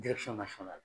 ka sɔrɔ a la